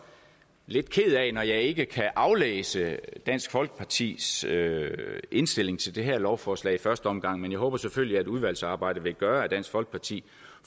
lidt ked af at jeg ikke kan aflæse dansk folkepartis indstilling til det her lovforslag i første omgang men jeg håber selvfølgelig at udvalgsarbejdet vil gøre at dansk folkeparti